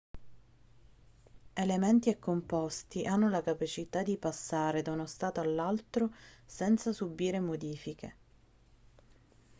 elementi e composti hanno la capacità di passare da uno stato all'altro senza subire modifiche